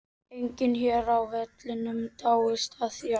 Enginn hér á vellinum dáist að þér.